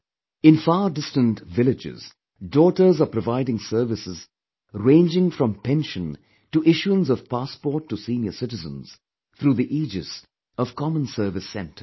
In fardistant villages, daughters are providing services ranging from pension to issuance of passport to senior citizens through the aegis of common service centers